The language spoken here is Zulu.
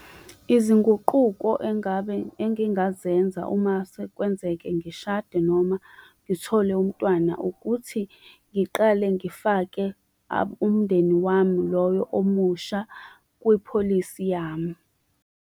Izinguquko engabe, engingazenza uma sekwenzeke ngishade noma ngithole umntwana, ukuthi ngiqale ngifake umndeni wami loyo omusha kwipholisi yami.